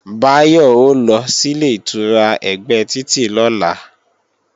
Báyọ̀ ó lọ sílé ìtura ẹ̀gbẹ́ títì lọ́la